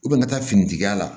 I bɛ ka taa fini tigiya la